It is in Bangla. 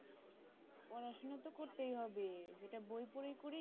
পড়াশোনা তো করতেই হবে যেটা বই পড়েই করি